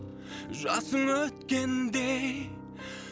жасын өткендей